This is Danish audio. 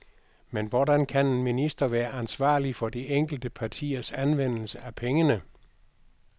Men hvordan kan en minister være ansvarlig for de enkelte partiers anvendelse af pengene?